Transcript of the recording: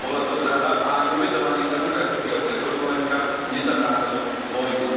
Bola to zrada a ani obetovanie demokratického Československa nezabránilo vojne.